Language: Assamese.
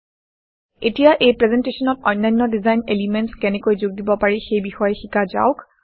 এতিয়া এই প্ৰেজেণ্টেশ্যনত অন্যান্য ডিজাইন এলিমেণ্টচ্ কেনেকৈ যোগ দিব পাৰি সেই বিষয়ে শিকা যাওক